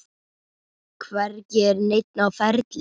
Hvergi er neinn á ferli.